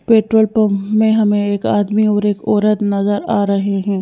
Petrol pump में हमें एक आदमी और एक औरत नज़र आ रहे हैं।